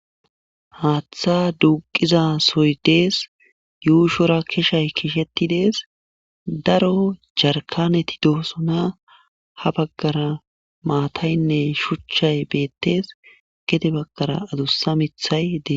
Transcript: haaththa duuqiza soy dees yuushora kishay kisheti dees daro jarkaneti doosona ha baggara maataynne shuchchay beettes gede baggara adussa mithay dees